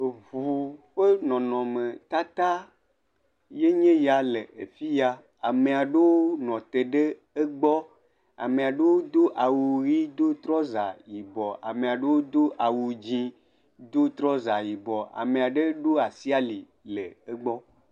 Eŋu ƒe nɔnɔme tata ye nye ya le afi ya, ame aɖewo nɔ te ɖe egbɔ, amea ɖewo do awu ʋi do trɔza yibɔ, ame aɖewo do awu dzɛ̃ do trɔza yibɔ ame aɖe ɖo asi ali le egbɔ.